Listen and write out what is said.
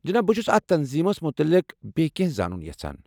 جناب ، بہٕ چھس اتھ تنظیمس متعلق بییٚہِ کینٛہہ زانُن یژھان ۔